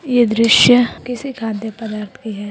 ये दृश्य किसी खाद्य पदार्थ की है।